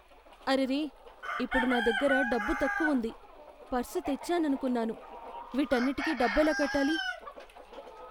అరెరే! ఇప్పుడు నా దగ్గర డబ్బు తక్కువుంది, పర్సు తెచ్చాననుకున్నాను. వీటన్నింటికి డబ్బెలా కట్టాలి?